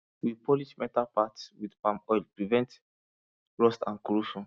we polish metal parts with palm oil prevent rust and corrosion